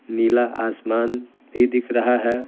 नीला आसमान भी दिख रहा है।